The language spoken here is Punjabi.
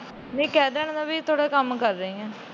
ਨਹੀਂ ਕਹਿ ਦਾ ਗੀ ਮੈ ਤੁਹਾਡਾ ਕੰਮ ਕਰ ਰਹੀ ਆ।